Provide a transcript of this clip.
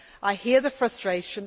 I hear the frustration.